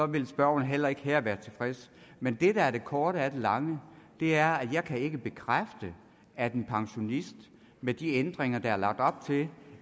vil spørgeren heller ikke her være tilfreds men det der er det korte af det lange er at jeg ikke kan bekræfte at en pensionist med de ændringer der er lagt op til